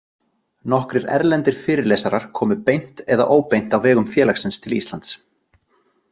Nokkrir erlendir fyrirlesarar komu beint eða óbeint á vegum félagsins til Íslands.